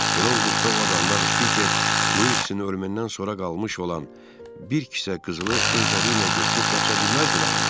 Belə olduqda o adamlar Peter, Wilksin ölümündən sonra qalmış olan bir kisə qızılı özləri ilə götürüb qaça bilməzdilərmi?